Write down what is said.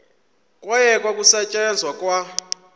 kwayekwa ukusetyenzwa kwa